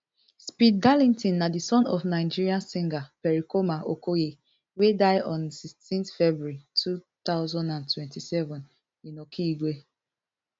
speed darlington na di son of nigeria singer pericoma okoye wey die on sixteen february two thousand and seventeen in okigwe